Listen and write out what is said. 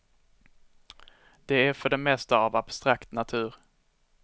Det är för det mesta av abstrakt natur.